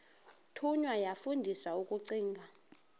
thunywa yafundiswa ukugcina